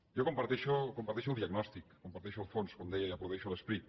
jo comparteixo comparteixo el diagnòstic comparteixo el fons com deia i aplaudeixo l’esperit